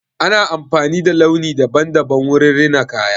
Ana amfani da launi daban-daban wurin rina kaya.